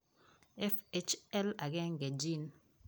Fhl1 gene